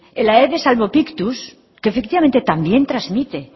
el aedes albopictus que efectivamente también transmite